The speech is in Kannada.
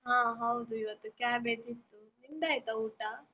ಹ ಹೌದು ಇವತ್ತು ಕ್ಯಾಬೇಜ್ ಇತ್ತು, ನಿಂದಾಯ್ತ ಊಟ?